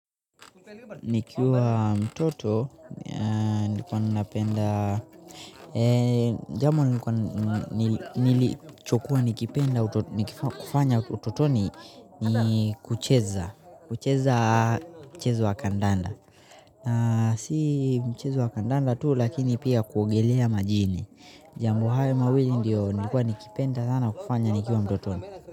Nikiwa mtoto, nilikuwa ninapenda, jambo nilichokuwa nikipenda, niki kufanya utotoni, ni kucheza, kucheza mchezo wa kandanda. Si mchezo wa kandanda tu, lakini pia kuogelea majini. Jambo haya mawili ndio nilikuwa nikipenda sana kufanya nikiwa mtotoni.